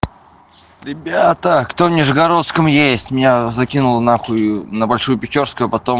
ребятаа кто в нижегородском есть меня закинула нахуй на большую печерскую а потом